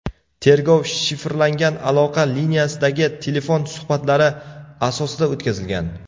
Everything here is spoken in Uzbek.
Tergov shifrlangan aloqa liniyasidagi telefon suhbatlari asosida o‘tkazilgan.